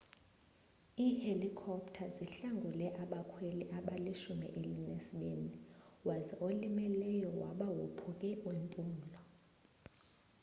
ihelikopter zihlangule abakhweli abalishumi elinesibini waze olimeleyo waba wophuke impumlo